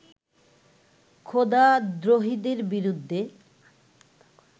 খোদাদ্রোহীদের বিরুদ্ধে